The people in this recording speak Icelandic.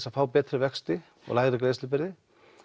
að fá betri vexti og lægri greiðslubyrði